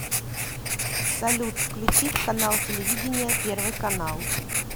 салют включить канал телевидения первый канал